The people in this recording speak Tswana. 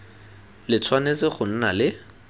le tshwanetse go nna le